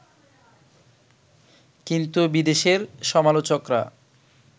কিন্তু বিদেশের সমালোচকরা